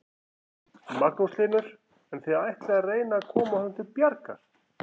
Magnús Hlynur: En þið ætlið að reyna að koma honum til bjargar?